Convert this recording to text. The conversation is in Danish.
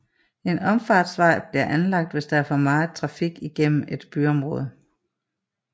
En omfartsvej bliver anlagt hvis der er for meget trafik igennem et byområde